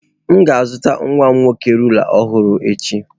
M ga-azụtara nwa m nwoke rula ọhụrụ echi.